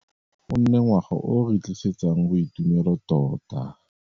A ngwaga wa 2019 o nne ngwaga o o re tlisetsang boitumelo tota.